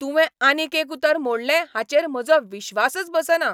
तुवें आनीक एक उतर मोडलें हाचेर म्हजो विश्वासच बसना.